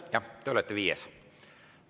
Jah, te olete viies.